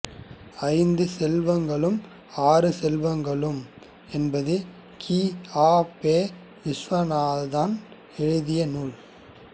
ஐந்து செல்வங்களும் ஆறு செல்வங்களும் என்பது கி ஆ பெ விசுவநாதம் எழுதிய நூல்